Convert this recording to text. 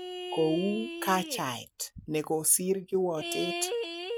' Kou '' kachaet nekosir kiwotet.''